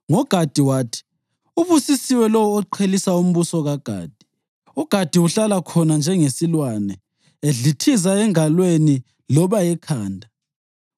NgoGadi wathi: “Ubusisiwe lowo oqhelisa umbuso kaGadi! UGadi uhlala khona njengesilwane, edlithiza engalweni loba ekhanda.